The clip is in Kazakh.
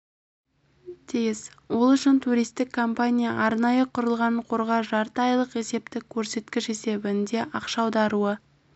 тиіс ол үшін туристік компания арнайы құрылған қорға жарты айлық есептік көрсеткіш есебінде ақша аударуы